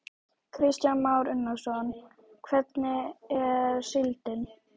Kristján Már Unnarsson: Hvernig er síldin?